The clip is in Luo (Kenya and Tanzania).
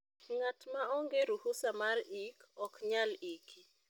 ngat ma onge ruhusa mar ik ok nyal iki